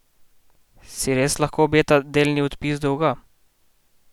Si res lahko obeta delni odpis dolga?